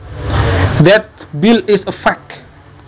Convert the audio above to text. That bill is a fake